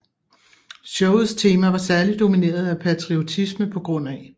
Showets tema var særligt domineret af patriotisme pga